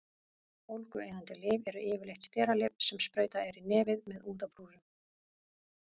Bólgueyðandi lyf eru yfirleitt steralyf sem sprautað er í nefið með úðabrúsum.